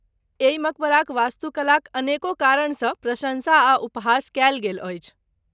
एहि मकबराक वास्तुकलाक अनेको कारणसँ प्रशंसा आ उपहास कयल गेल अछि।